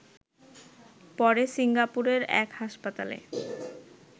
পরে সিঙ্গাপুরের এক হাসপাতালে